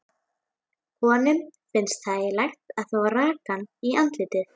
Honum finnst þægilegt að fá rakann í andlitið.